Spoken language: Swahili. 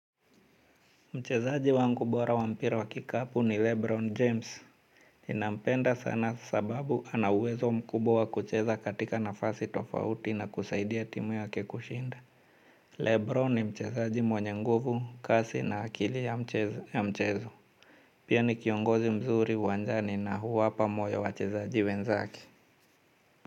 Mchezaji wangu bora wa mpira wa kikapu ni Lebron James. Ninampenda sana sababu anauwezo mkubwa wa kucheza katika nafasi tofauti na kusaidia timu yake kushinda Lebron ni mchezaji mwenye nguvu, kasi na akili ya mchezo. Pia ni kiongozi mzuri uwanjani na huwapa moyo wachezaji wenzake.